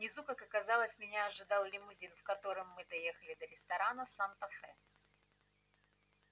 внизу как оказалось меня ожидал лимузин в котором мы доехали до ресторана санта фе